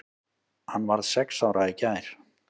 Hann varð sex ára í gær.